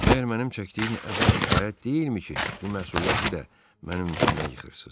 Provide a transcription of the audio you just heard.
Məgər mənim çəkdiyim əzab kifayət deyilmi ki, bu məsuliyyəti də mənim üstümə yıxırsız?